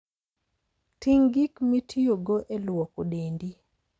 Ting' gik mitiyogo e lwoko dendi.